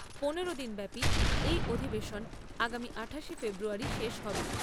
পনেরো দিন ব্যাপী এই অধিবেশন আগামী আঠাশে ফেব্রুয়ারী শেষ হবে।